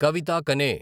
కవిత కనే